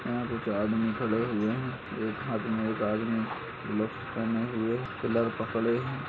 यहाँ कुछ आदमी खड़े हुए हैं एक आदमी के हाथ में ग्लव्स पहने हुए पिलर पकड़े हैं।